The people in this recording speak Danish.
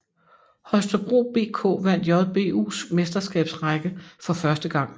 Holstebro BK vandt JBUs Mesterskabsrække for første gang